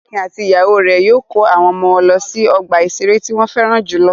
Akin àti ìyàwó rẹ̀ yóò kó àwọn ọmọ wọn lọ sí ọgbà-ìṣeré tí wọ́n fẹ́ràn jù lọ.